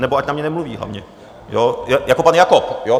Nebo ať na mě nemluví hlavně, jako pan Jakob.